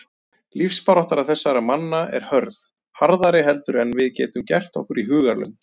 Lífsbarátta þessara manna er hörð, harðari heldur en við getum gert okkur í hugarlund.